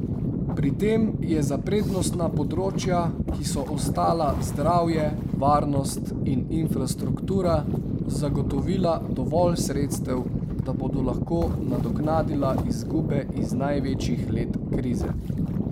Pri tem je za prednostna področja, ki so ostala zdravje, varnost in infrastruktura, zagotovila dovolj sredstev, da bodo lahko nadoknadila izgube iz največjih let krize.